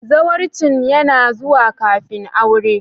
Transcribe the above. Zawarcin yana zuwa kafin aure.